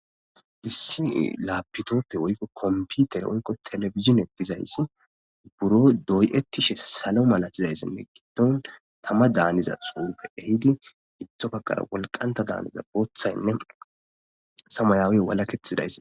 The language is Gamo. Dissii laapitoppe woykko komputer oykko telefizin egizayssi buro doyettishe salo malatizayssinne gindon tama daaniza xuupe ehidi gittofaqara wolqanta daaniza booththaynne samayaawe wala kethidays.